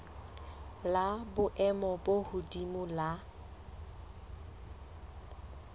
la boemo bo hodimo la